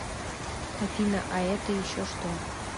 афина а это еще что